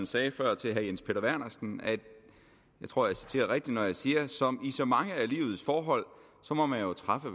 sagde før til herre jens peter vernersen og jeg tror jeg citerer rigtigt når jeg siger som i så mange af livets forhold må man jo træffe